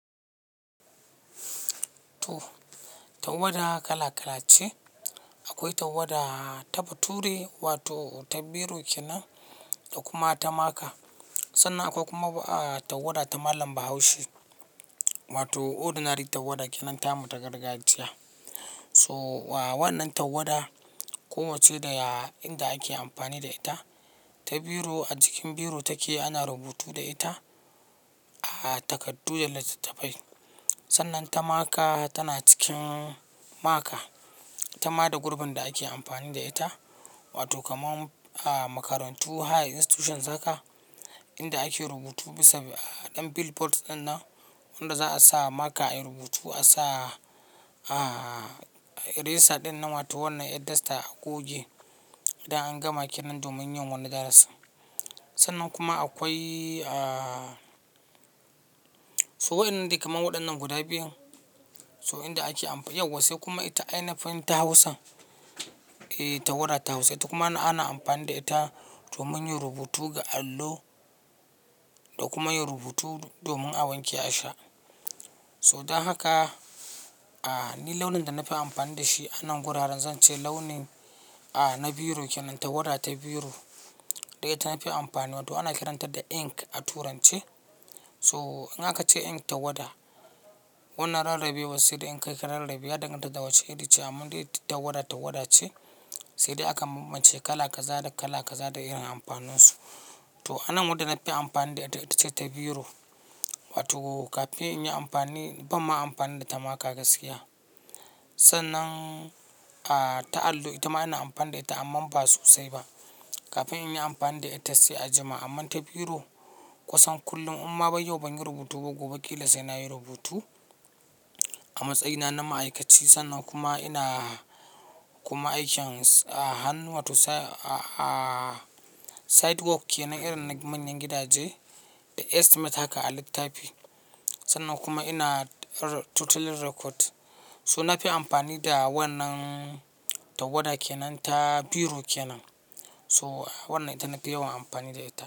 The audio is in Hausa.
Tawada kala-kala ce. Akwai tawada ta bature wato ta biro kenan da kuma ta maka. Sannan akwai kuma tawada ta malam Bahaushe wato ordinary tawada kenan ta mutu gargajiya. So wa wannan tawada ko wacce daya inda ake amfani da ita, ta biro a jikin biro take ana rubutu da ita a takardu da littattafai. Sannan ta maka tana cikin maka, ta ma da gurbin da ake amfani da ita wato kamar a makarantu, higher institutions haka, inda ake rubutu bisa ɗan billboard dinnan wanda za a sa maka ayi rubutu, a sa eraser ɗinnan wato wannan eraser a goge idan an gama kenan domin yin wani darasi. Sannan kuma akwai, so waɗannan dai kamar waɗannan guda biyun. So inda ake amfani, yau wasu kuma ita ainifin ta Hausan, eh tawada ta Hausa ita kuma ana amfani da ita domin yin rubutu ga allo da kuma yin rubutu domin awanki a sha. So don haka, ni launin da na fi amfani da shi anan gurara zan ce launi na biro kenan, tawada ta biro. Daya ita na fi amfani wato ana kiranta da ink a turance. So in aka ce ink tawada, wannan rarrabewa sai da ink akai rarrabewa dangane da dawanci, edice. Amman dai tawada tawada ce, sai dai aka mace kala kaza da kala kaza da irin amfaninsu. To anan wadda na fi amfani da ita, ita ce ta biro wato kafin in yi amfani, ban ma amfani da ta maka gaskiya. Sannan a ta allo, ita ma ina amfani da ita amma ba sosai ba. Kafin in yi amfani da ita sai a jima. Amma ta biro kusan kullum. Amma bai yau ban yi rubutu ba gobe kilasai na yi rubutu a matsayina na ma'aikaci. Sannan kuma ina kuma aikin a hannu wato a sidewalk kenan irin na manyan gidaje, jest mata ka a littafi. Sannan kuma ina totally record. So na fi amfani da wannan tawada kenan, ta biro kenan. So wannan ita naga yawan amfani da ita.